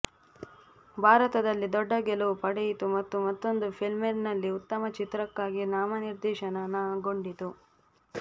ಭಾರತದಲ್ಲಿ ದೊಡ್ಡ ಗೆಲುವು ಪಡೆಯಿತು ಮತ್ತು ಮತ್ತೊಂದು ಫಿಲ್ಮ್ಫೇರ್ನಲ್ಲಿ ಉತ್ತಮ ಚಿತ್ರಕ್ಕಾಗಿ ನಾಮನಿರ್ದೇಶನಗೊಂಡಿತು